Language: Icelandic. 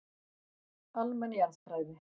Almenn jarðfræði.